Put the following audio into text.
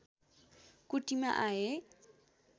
कुटीमा आए